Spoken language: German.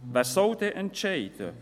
Wer soll dann entscheiden?